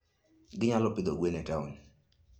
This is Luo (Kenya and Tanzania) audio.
Ginyalo pidho gwen e taon.